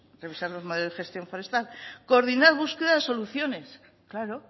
revisar los modelos de gestión forestal coordinar búsqueda de soluciones claro